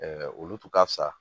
olu tun ka fisa